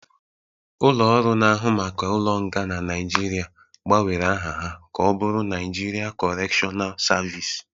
Ulo-ọru na ahụ maka ụlo nga na Nigeria gba nwere aha ha ka ọbụrụ Naijiria kọretional servịce